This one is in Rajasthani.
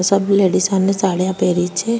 सब लेडिसा ने साडिया पहरी छे।